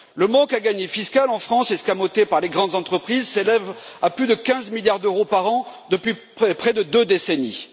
Le manque à gagner fiscal en France escamoté par les grandes entreprises s'élève à plus de 15 milliards d'euros par an, depuis près de deux décennies.